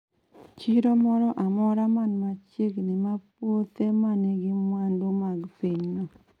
Chiro moro amora man machiegni ma puothe ma nigi mwandu mag pinyno